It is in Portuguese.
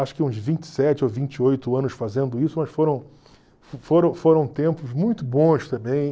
Acho que uns vinte e sete ou vinte e oito anos fazendo isso, mas foram foram foram tempos muito bons também.